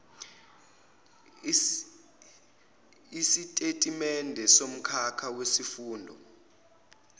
isitatimende somkhakha wesifundo